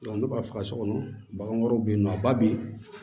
ne b'a faga so kɔnɔ bagan wɛrɛw be yen nɔ a ba bin